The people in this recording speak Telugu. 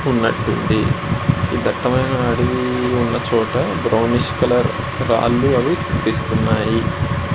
ఇది ఈ దట్టమైన అడవిలో ఉన్న చోట బ్రోవనీష్ కలర్ రాళ్ళు అవి కనిపిస్తున్నాయి.